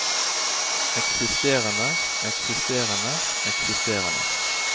eksisterende eksisterende eksisterende